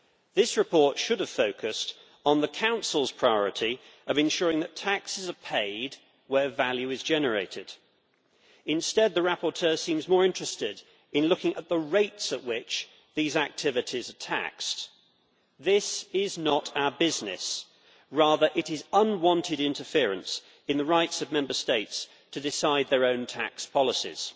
This report should have focused on the Council's priority of ensuring that taxes are paid where value is generated. Instead, the rapporteur seems more interested in looking at the rates at which activities are taxed. That is not our business rather, it is unwanted interference in the rights of Member States to decide on their own tax policies.